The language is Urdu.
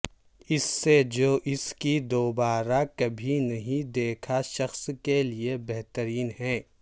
اس سے جو اس کی دوبارہ کبھی نہیں دیکھا شخص کے لئے بہترین ہے